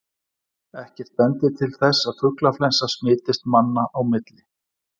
Ekkert bendir til þess að fuglaflensa smitist manna á milli.